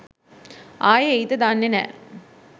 ආයේ එයිද දන්නෙ නැහැ.